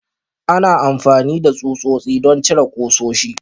Ana amfani da tsutsotsi don cire ƙusoshi.